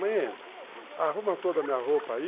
Mãe, arruma toda a minha roupa aí,